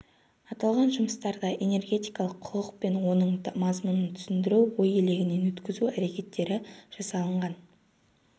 аталған жұмыстарда энергетикалық құқық пен оның мазмұнын түсіндіру ой елегінен өткізу әрекеттері жасалынған